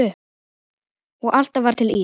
Og alltaf var til ís.